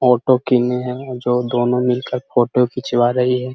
Auto किने हैं जो दोनों मिलकर फोटो खिचवा रही है।